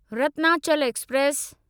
Ratnachal express